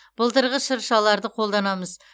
былтырғы шыршаларды қолданамыз